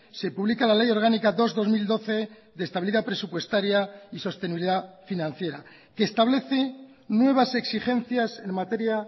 se publica la ley orgánica dos barra dos mil doce de estabilidad presupuestaria y sostenibilidad financiera que establece nuevas exigencias en materia